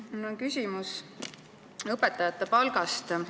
Mul on küsimus õpetajate palga kohta.